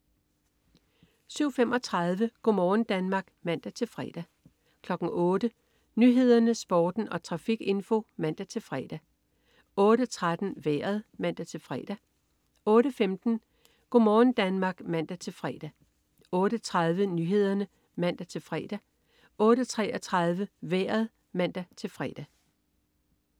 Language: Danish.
07.35 Go' morgen Danmark (man-fre) 08.00 Nyhederne, Sporten og trafikinfo (man-fre) 08.13 Vejret (man-fre) 08.15 Go' morgen Danmark (man-fre) 08.30 Nyhederne (man-fre) 08.33 Vejret (man-fre)